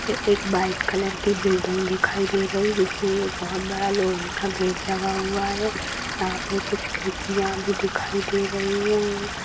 ये एक white colour की बिल्डिंग दिखाई दे रही है जिसमें ये बहुत बड़ा लोहे का गेट लगा हुआ है यहाँ पे कुछ खिड़कियाँ भी दिखाई दे रहीं हैं और --